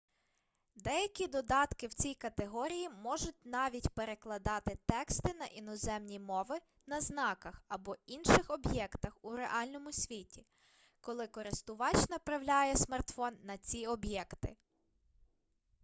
деякі додатки в цій категорії можуть навіть перекладати тексти на іноземні мови на знаках або інших об'єктах у реальному світі коли користувач направляє смартфон на ці об'єкти